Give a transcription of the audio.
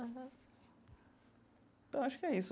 Aham. Então, acho que é isso.